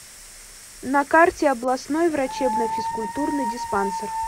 на карте областной врачебно физкультурный диспансер